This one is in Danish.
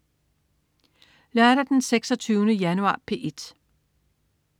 Lørdag den 26. januar - P1: